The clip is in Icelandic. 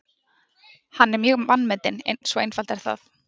Hann er mjög vanmetinn, svo einfalt er það.